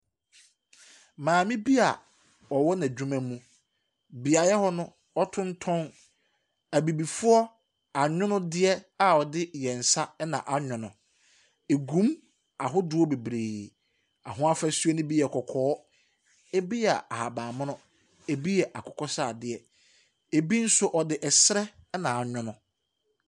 Maame bi a ɔwɔ n'adwuma mu, beaeɛ hɔ no, ɔtontɔn Abibifoɔ anwonneɛ a wɔde wɔn nsa na anwono. Ɛgu mu ahodoɔ bebree. Ahofasuo no bi yɛ kɔkɔɔ, ɛbi yɛ ahabammono, ɛbi yɛ akokɔsradeɛ, ɛbi nso, wɔde ɛserɛ na anwono.